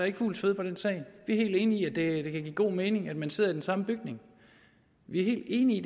ikke fugls føde på den sag vi er helt enige i at det kan give god mening at man sidder i den samme bygning vi er helt enige i